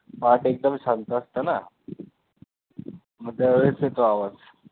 पहाटे एकदम शांत असतं ना मग त्या वेळेस येतो आवाज